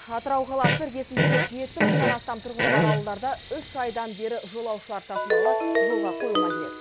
атырау қаласы іргесіндегі жеті мыңнан астам тұрғыны бар ауылдарда үш айдан бері жолаушылар тасымалы жолға қойылмай келеді